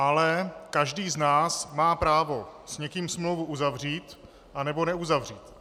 Ale každý z nás má právo s někým smlouvu uzavřít a nebo neuzavřít.